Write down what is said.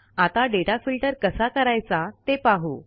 आता data filter कसा करायचा ते पाहू